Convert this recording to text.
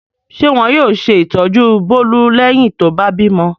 Ṣé wọn yóò ṣe ìtọ́jú Bólú lẹ́yìn tó bá bímọ?